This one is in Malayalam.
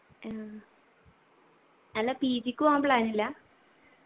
ആ അല്ല PG ക്ക് പോകാൻ plan ഇല്ല